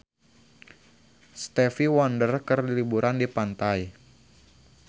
Stevie Wonder keur liburan di pantai